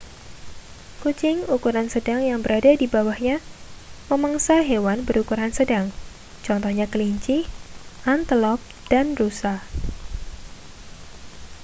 kucing ukuran sedang yang berada di bawahnya memangsa hewan berukuran sedang contohnya kelinci antelop dan rusa